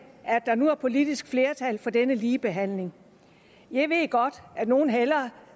der nu er politisk flertal for denne ligebehandling jeg ved godt at nogle hellere